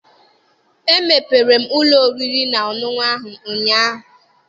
E mepere m ụlọ oriri na ọṅụṅụ ahụ ụnyaahụ.